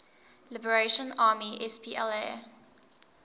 liberation army spla